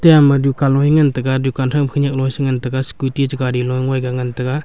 dukan loe ngan taiga dukan thoima khenak loe sengan taiga scooty che gari ngoiga ngan taiga.